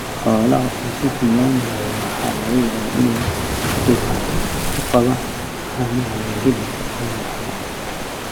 Xoolaha oo si xun loo maareeyo waxaa laga yaabaa in ay dhibaato ku qabaan caanaha iyo hilibka oo yaraada.